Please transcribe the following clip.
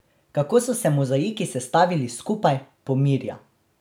Kako so se mozaiki sestavili skupaj, pomirja.